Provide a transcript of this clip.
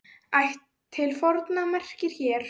Ætt til forna merkir hér.